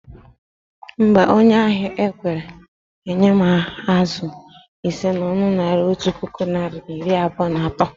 Mba, onye ahia ekwerọ enye m azụ ise na ọnụ Naira otu puku narị na iri abụọ na atọ